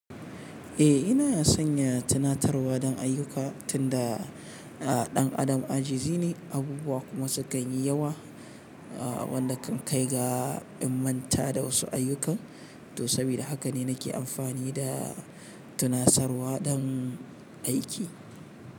Eh, ina sanya tunatarwa don ayyuka tunda aa ɗan adam ajizi ne, abubuwa kuma sukan yi yawa. Aa wanda kan kai ga in manta da wasu ayyuka. To sabida haka ne nake amfani da tunasarwa don aiki.